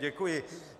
Děkuji.